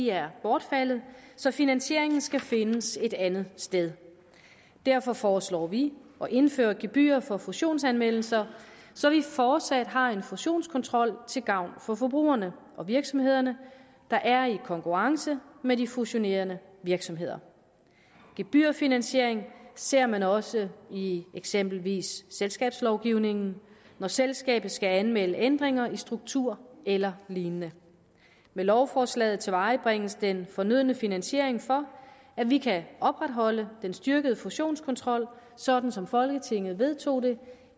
er bortfaldet så finansieringen skal findes et andet sted derfor foreslår vi at indføre gebyrer for fusionsanmeldelser så vi fortsat har en fusionskontrol til gavn for forbrugerne og virksomhederne der er i konkurrence med de fusionerende virksomheder gebyrfinansiering ser man også i i eksempelvis selskabslovgivningen når selskabet skal anmelde ændringer i struktur eller lignende med lovforslaget tilvejebringes den fornødne finansiering for at vi kan opretholde den styrkede fusionskontrol sådan som folketinget vedtog det